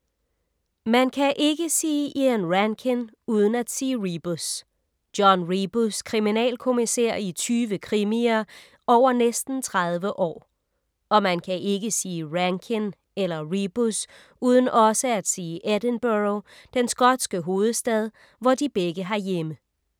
Man kan ikke sige Ian Rankin uden at sige Rebus. John Rebus, kriminalkommissær i tyve krimier over næsten 30 år. Og man kan ikke sige Rankin eller Rebus uden også at sige Edinburgh, den skotske hovedstad, hvor de begge har hjemme.